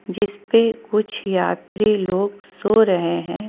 जिसपे कुछ यात्री लोग सो रहे है।